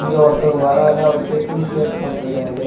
இங்க ஒருத்தர் வராரு அவரு செக்குடு ஷர்ட் போட்டுருக்காரு.